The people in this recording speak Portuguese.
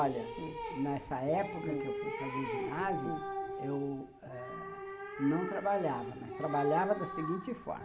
Olha, hum, nessa época, hum, que eu fui fazer ginásio, hum, eu não trabalhava, mas trabalhava da seguinte forma.